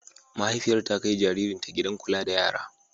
Mahaifiyar ta kai jaririnta gidan kula da yara.